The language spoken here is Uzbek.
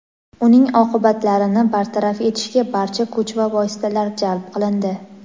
uning oqibatlarini bartaraf etishga barcha kuch va vositalar jalb qilindi.